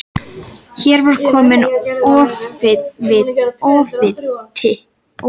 Hér var kominn ofviti sem var líkamlega fatlaður.